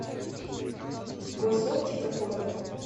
госоптика фото